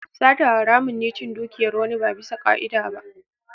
Sata haramun ne cin dukiyar wani ba bisa ka'ida ba.